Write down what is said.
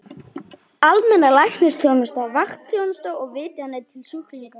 Almenn læknisþjónusta, vaktþjónusta og vitjanir til sjúklinga.